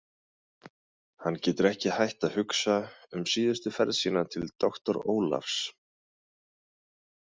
Hann getur ekki hætt að hugsa um síðustu ferð sína til doktors Ólafs.